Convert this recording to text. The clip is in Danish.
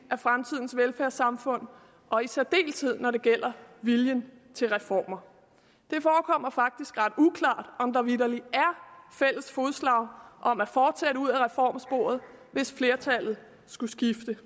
af fremtidens velfærdssamfund og i særdeleshed når det gælder viljen til reformer det forekommer faktisk ret uklart om der vitterlig er fælles fodslag om at fortsætte ud af reformsporet hvis flertallet skulle skifte